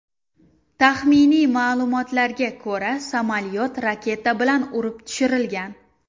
Taxminiy ma’lumotlarga ko‘ra, samolyot raketa bilan urib tushirilgan.